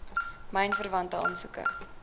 myn verwante aansoeke